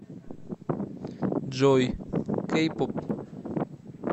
джой кей поп